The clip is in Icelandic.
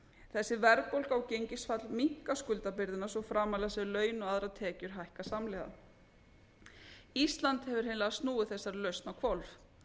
þessi verðbólga og gengisfall minnka skuldabyrðina svo framarlega sem laun og aðrar tekjur hækka samhliða ísland hefur hreinlega snúið þessari lausn á hvolf